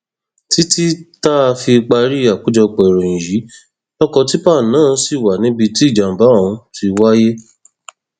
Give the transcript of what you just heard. títí táa fi parí àkójọpọ ìròyìn yìí lọkọ tìpá náà ṣì wà níbi tí ìjàmbá ọhún ti wáyé